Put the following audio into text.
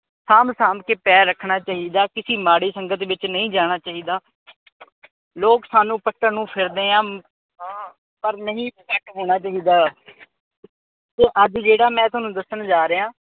ਸਾਂਭ-ਸਾਂਭ ਕੇ ਪੈਰ ਰੱਖਣਾ ਚਾਹੀਦਾ। ਕਿਸੀ ਮਾੜੀ ਸੰਗਤ ਵਿਚ ਨਹੀਂ ਜਾਣਾ ਚਾਹੀਦਾ। ਲੋਕ ਸਾਨੂੰ ਪੱਟਣ ਨੂੰ ਫਿਰਦੇ ਆ ਪਰ ਨਹੀਂ ਹੋਣਾ ਚਾਹੀਦਾ। ਅੱਜ ਜਿਹੜਾ ਮੈਂ ਥੋਨੂੰ ਦੱਸਣ ਜਾ ਰਿਹਾ